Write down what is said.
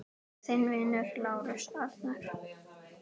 Þinn vinur, Lárus Arnar.